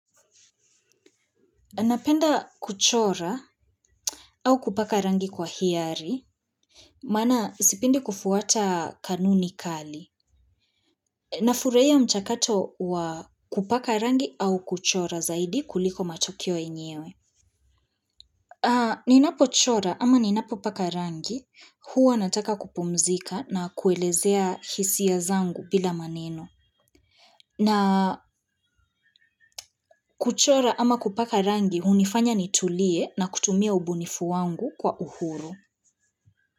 Napenda kuchora au kupaka rangi kwa hiari, maana sipendi kufuata kanuni kali. Nafurahia mchakato wa kupaka rangi au kuchora zaidi kuliko matokeo yenyewe. Ni napo chora ama ni napo paka rangi, huwa nataka kupumzika na kuelezea hisia zangu bila maneno. Na kuchora ama kupaka rangi, hunifanya nitulie na kutumia ubunifu wangu kwa uhuru.